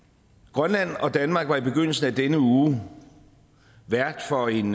grønland og danmark var i begyndelsen af denne uge vært for en